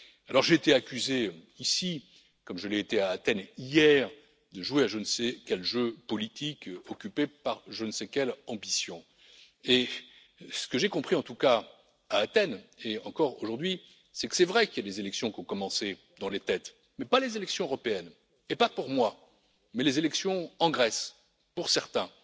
Alors, j'ai été accusé ici, comme je l'ai été à Athènes, hier, de jouer à je ne sais quel jeu politique occupé par je ne sais quelle ambition. Ce que j'ai compris, en tout cas, à Athènes hier, et encore aujourd'hui, c'est qu'il est vrai que des élections ont commencé dans les têtes, mais pas les élections européennes et pas pour moi, mais les élections en Grèce pour certains.